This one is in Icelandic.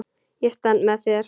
Ég stend með þér.